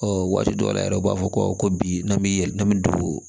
Ɔ waati dɔw la yɛrɛ u b'a fɔ ko bi n'an bɛ n'an bɛ don